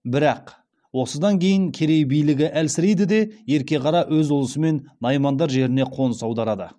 бірақ осыдан кейін керей билігі әлсірейді де ерке қара өз ұлысымен наймандар жеріне қоныс аударады